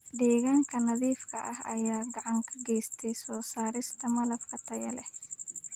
Deegaanka nadiifka ah ayaa gacan ka geysta soo saarista malab tayo leh.